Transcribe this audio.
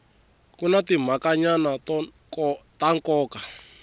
ku na timhakanyana ta nkoka